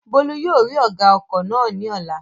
Bólú yóò rí ọ̀gá ọkọ̀ náà ní ọ̀la